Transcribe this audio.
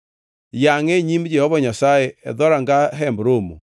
Yangʼe e nyim Jehova Nyasaye e dhoranga Hemb Romo.